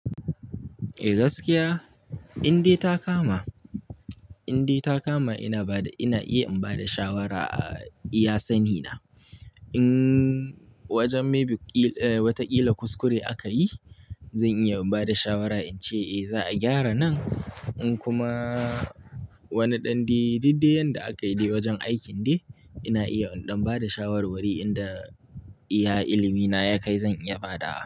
Eh gaskiya, indai ta kama ina iya in bada shawara a iya sani na. In wajen maybe wata ƙila kuskure akayi zan iya bada shawara in ce za a gyara nan. In kuma wani ɗan diddeyan da aka yi wajen aikin dai ina iya in ɗan bada shawarwari inda iya ilimi na ya kai zan iya bada.